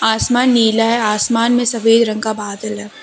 आसमान नीला है आसमान में सफेद रंग का बादल है।